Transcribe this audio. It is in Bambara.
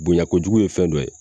Bonɲako jugu ye fɛn dɔ ye.